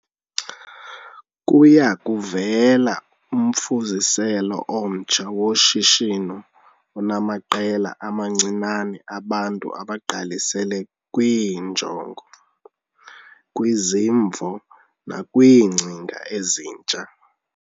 Kuya kuvela umfuziselo omtsha woshishino onamaqela amancinane abantu abagqalisele kwiinjongo, kwizimvo nakwiingcinga ezintsha.